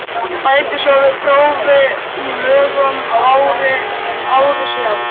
Bætti svo við prófi í lögum ári síðar.